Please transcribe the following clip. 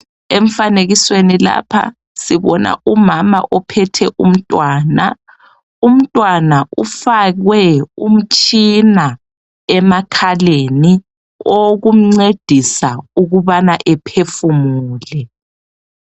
Emfanekisweni lapha sibona umama ophethe umtwana. Umtwana ufakwe umtshina emakhaleni owokumncedisa ukubana ephefumule.